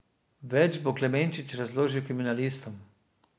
Več bo Klemenčič razložil kriminalistom.